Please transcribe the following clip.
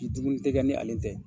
tɛ kɛ ni ale tɛ.